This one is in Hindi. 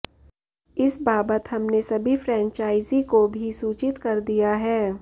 इस बाबत हमने सभी फ्रेंचाइजी को भी सूचित कर दिया है